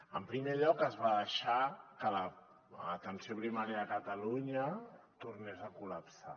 en primer lloc es va deixar que l’atenció primària de catalunya tornés a collapsar